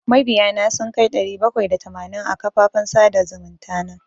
Mabiya na sun kai ɗari bakwai da tamanin a kafafen sada zumunta.